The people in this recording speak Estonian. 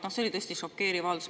See oli tõesti šokeeriv avaldus.